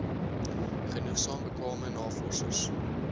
genoegsaam bekwame navorsers